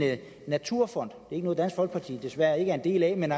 naturfond det er noget dansk folkeparti er en del af men